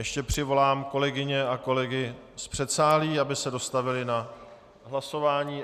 Ještě přivolám kolegyně a kolegy z předsálí, aby se dostavili na hlasování.